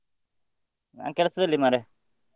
ನಾನ್ ಕೆಲ್ಸದಲ್ಲಿ ಮಾರ್ರೆ.